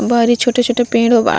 बाहरी छोटे-छोटे पेंड़ बा।